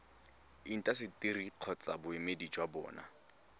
intaseteri kgotsa boemedi jwa bona